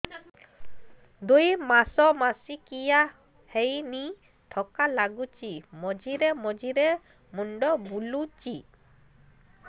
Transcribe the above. ଦୁଇ ମାସ ମାସିକିଆ ହେଇନି ଥକା ଲାଗୁଚି ମଝିରେ ମଝିରେ ମୁଣ୍ଡ ବୁଲୁଛି